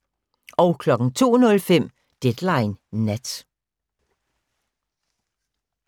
02:05: Deadline Nat